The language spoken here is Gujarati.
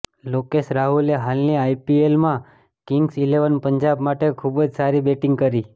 લોકેશ રાહુલે હાલની આઈપીએલમાં કિંગ્સ ઈલેવન પંજાબ માટે ખૂબ જ સારી બેટિંગ કરી